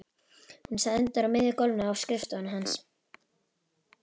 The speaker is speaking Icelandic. Hún stendur á miðju gólfinu á skrifstofunni hans.